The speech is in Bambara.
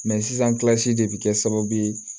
sisan de bɛ kɛ sababu ye